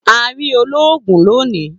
A ri oloogun loni.